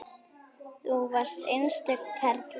Þú varst einstök perla.